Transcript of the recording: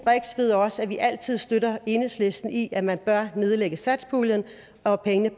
ved også at vi altid støtter enhedslisten i at man bør nedlægge satspuljen og at pengene